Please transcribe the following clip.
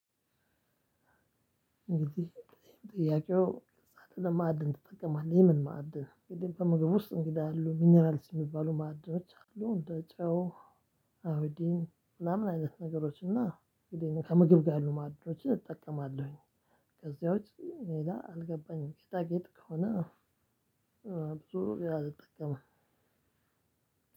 እንግዲህ ጥያቄው ሳጥን ለማዕድን ትጠቀማለህ? የምን ማዕድን? እንግዲህ ከምግብ ውስጥ እንግዳ ያሉ ሚኒራልስ የሚባሉ ማዕድኖች አሉ። እንደ ጨው፣ አዮዲን ምናምን አይነት ነገሮች እና እንግዲህ ከምግብ ጋር ያሉ ማዕድኖችን እጠቀማለሁኝ። ከዚያ ውጭ ሌላ አልገባኝም። ጌጣጌጥ ከሆነ ብዙ ጊዜ አልጠቀምም።